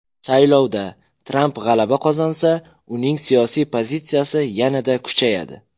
Saylovda Tramp g‘alaba qozonsa, uning siyosiy pozitsiyasi yanada kuchayadi.